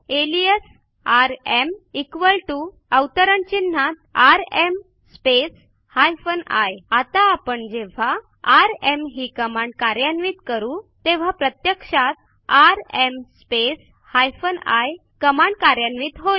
alias RM equal T O अवतरण चिन्हात RM space hyphen I आता आपण जेव्हा आरएम ही कमांड कार्यान्वित करू तेव्हा प्रत्यक्षात RM space hyphen I command कार्यान्वित होईल